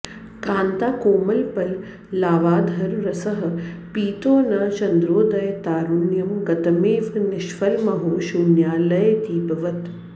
कान्ताकोमलपल्लवाधररसः पीतो न चन्द्रोदये तारुण्यं गतमेव निष्फलमहो शून्यालये दीपवत्